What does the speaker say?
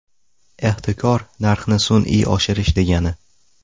Ehtikor narxni sun’iy oshirish degani.